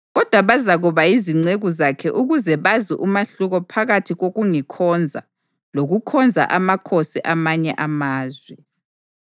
Kodwa bazakuba yizinceku zakhe ukuze bazi umahluko phakathi kokungikhonza lokukhonza amakhosi amanye amazwe.”